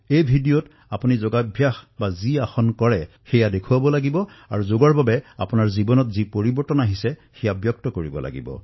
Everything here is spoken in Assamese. এই ভিডিঅত আপুনি যি যোগ হা আসন কৰিব সেয়া দেখুৱাব লাগিব আৰু যোগৰ দ্বাৰা আপোনাৰ জীৱনলৈ যি পৰিৱৰ্তন আহিছে সেয়াও কব লাগিব